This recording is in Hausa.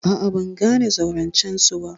A'a, ban gane zaurancen su ba.